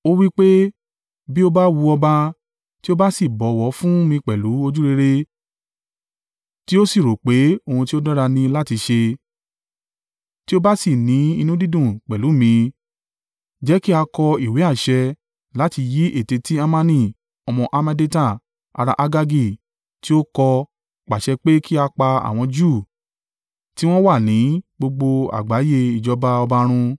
Ó wí pé, “Bí ó bá wu ọba, tí ó bá sì bọ̀wọ̀ fún mi pẹ̀lú ojúrere tí ó sì rò pé ohun tí ó dára ni láti ṣe, tí ó bá sì ní inú dídùn pẹ̀lú mi, jẹ́ kí a kọ ìwé àṣẹ láti yí ète tí Hamani ọmọ Hammedata, ará Agagi, tí ó kọ́ pàṣẹ pé kí a pa àwọn Júù tí wọ́n wà ní gbogbo àgbáyé ìjọba ọba run.